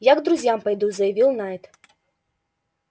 я к друзьям пойду заявил найд